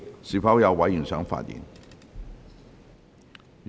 是否有委員想發言？